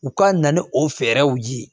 U ka na ni o fɛɛrɛw ye